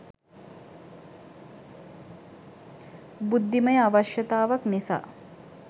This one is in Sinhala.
බුද්ධිමය අවශ්‍යතාවක් නිසා.